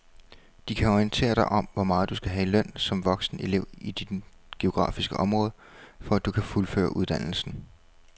De kan orientere dig om hvor meget du skal have i løn som voksenelev i dit geografiske område, for at du kan fuldføre uddannelsen.